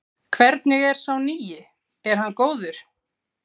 Hvernig er sá nýi, er hann góður?